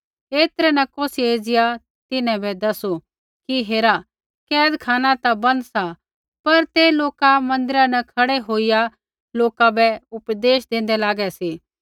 ऐतरै न कौसियै एज़िया तिन्हां बै दसू कि हेरा कैदखाना ता बन्द सा पर ते लोका मन्दिरा न खड़ै होईया लोका बै उपदेश देन्दै लागै सी